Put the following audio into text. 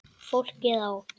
Fólkið á